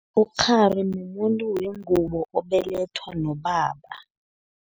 Ukghari mumuntu wengubo, obelethwa nobaba.